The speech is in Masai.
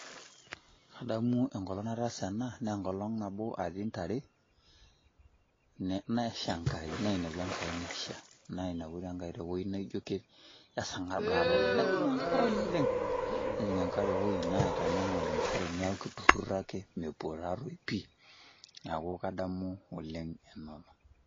Kadamu enkolong' nataasa ena nee enkolong' nabo natii ntare nesha enkai, nainepu enkai nesha nainepu tee enkai tewoji naijo esarng'ab taa taa oleng' najing' atua enkare oleng' nejing' enkare ewoi naitanyamal ntare neeku itururo ake mepuo taa toi pii. Neeku kadamu oleng' ena olong'.